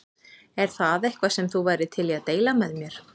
Er það eitthvað sem þú værir til í að deila með mér?